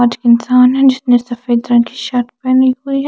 आज इंसान है जिसने सफ़ेद रंग की शर्ट पहनी हुई है ।